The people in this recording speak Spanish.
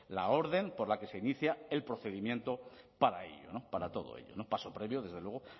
la orden por la que se inicia el procedimiento para todo ello paso previo desde luego